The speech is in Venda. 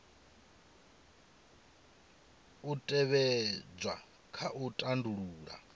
u tevhedzwa kha u tandulula